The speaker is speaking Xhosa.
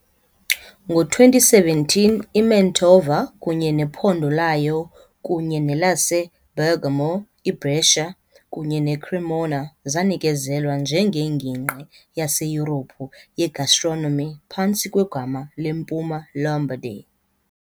Ngo- 2017 iMantua kunye nephondo layo, kunye nelaseBergamo, iBrescia kunye neCremona, zanikezelwa njengeNgingqi yaseYurophu yeGastronomy phantsi kwegama leMpuma Lombardy.